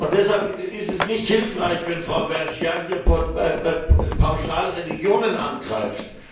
Deshalb ist es nicht hilfreich, wenn Frau Vergiat hier pauschal Religionen angreift.